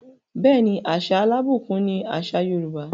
Bẹẹni, àṣà alábùkún ni àṣà Yorùbá.